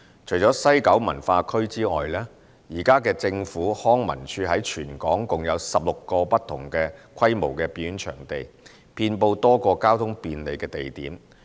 除了西九文化區外，現時政府康樂及文化事務署在全港共有16個不同規模的表演場地，遍布多個交通便利的地點。